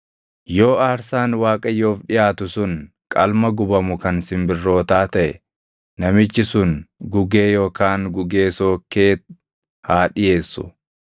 “ ‘Yoo aarsaan Waaqayyoof dhiʼaatu sun qalma gubamu kan simbirrootaa taʼe namichi sun gugee yookaan gugee sookkee haa dhiʼeessu.